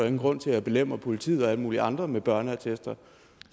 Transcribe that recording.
ingen grund til at belemre politiet og alle mulige andre med børneattester